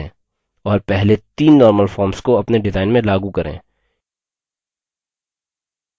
और पहले तीन normal forms को अपने डिजाइन में लागू करें